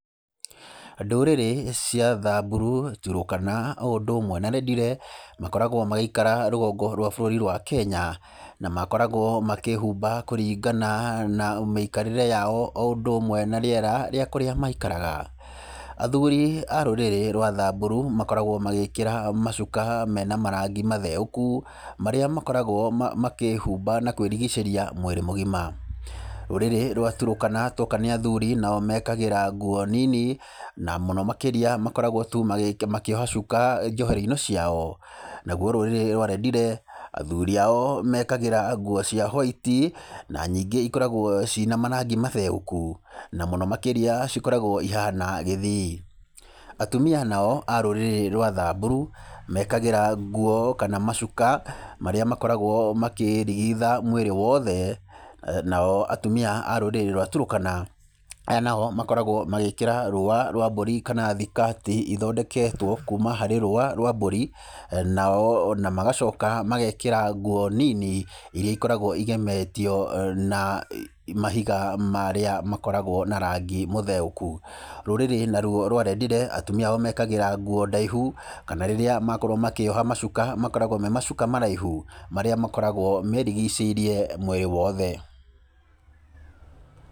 Ndũrĩrĩ cia Thamburu, Turukana o ũndũ ũmwe na Rendile, makoragwo magĩikara rũgongo rwa bũrũri wa Kenya, na makoragwo makĩĩhumba kũringana na mĩikarĩre yao o ũndũ ũmwe na rĩera ríĩ kũrĩa maikaraga. Athuri a rũrĩrĩ rwa Thamburu makoragwo magĩkĩra macuka me na marangi matheũku marĩa makoragwo makĩĩhumba na kwĩrigicĩria mwĩrĩ mũgima. Rũrĩrĩ rwa Turukana twoka nĩ athuri nao mekagĩra nguo nini na mũno makĩria makoragwo tu makĩoha cuka njohero-inĩ ciao, naguo rũrĩrĩ rwa Rendile, athuri ao mekagĩra nguo cia hwaiti, na nyingĩ ikoragwo ciĩ na marangi matheũku, na mũno makĩria cikoragwo ihana gĩthii. Atumia nao a rũrĩrĩ rwa Thamburu mekagĩra nguo kana macuka marĩa makoragwo makĩĩrigitha mwĩrĩ wothe, nao atumia a rũrĩrĩ rwa Turukana , aya nao makoragwo magĩkĩra rũa rwa mbũri kana thikati ithondeketwo kuma harĩ rũa rwa mbũri naona magacoka magekĩra nguo nini iria ikoragwo igemetio na mahiga marĩa makoragwo na rangi mũtheũku. Rũrĩrĩ naruo rwa Rendile atumia ao mekagĩra nguo ndaihu, kana rĩrĩa makorwo makĩoha macuka makoragwo me macuka maraihu, marĩa makoragwo merigicĩirie mwĩrĩ wothe.